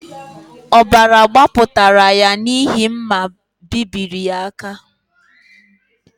Ọbara gbapụtara ya n’ihi mma bebiri ya aka